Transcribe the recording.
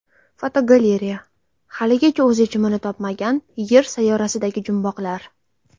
Fotogalereya: Haligacha o‘z yechimini topmagan Yer sayyorasidagi jumboqlar.